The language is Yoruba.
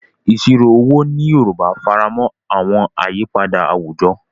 Ìṣirò owó ní Yorùbá faramọ́ àwọn àyípadà àwùjọ,